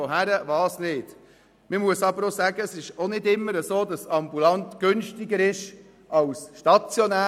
Ambulant ist allerdings auch nicht immer kostengünstiger als stationär.